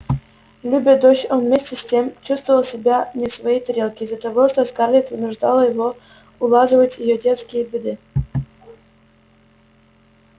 любя дочь он вместе с тем чувствовал себя не в своей тарелке из-за того что скарлетт вынуждала его улаживать её детские беды